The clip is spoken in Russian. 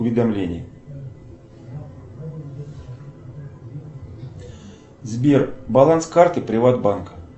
уведомление сбер баланс карты приват банка